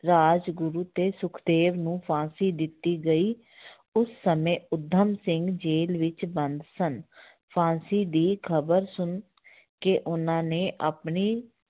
ਰਾਜਗੁਰੂ ਤੇ ਸੁਖਦੇਵ ਨੂੰ ਫ਼ਾਂਸੀ ਦਿੱਤੀ ਗਈ ਉਸ ਸਮੇਂ ਊਧਮ ਸਿੰਘ ਜੇਲ੍ਹ ਵਿੱਚ ਬੰਦ ਸਨ ਫ਼ਾਂਸੀ ਦੀ ਖ਼ਬਰ ਸੁਣ ਕੇ ਉਹਨਾਂ ਨੇ ਆਪਣੀ